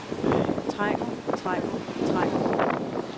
trænger trænger trænger